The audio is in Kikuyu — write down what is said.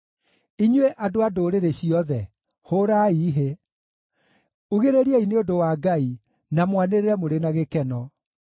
Inyuĩ andũ a ndũrĩrĩ ciothe, hũũrai hĩ; ugĩrĩriai nĩ ũndũ wa Ngai, na mwanĩrĩre mũrĩ na gĩkeno.